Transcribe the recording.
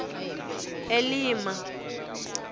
elima